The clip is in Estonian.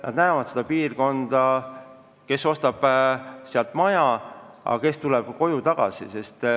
Nad näevad seda piirkonda, kes ostab seal maja, kes tuleb koju tagasi.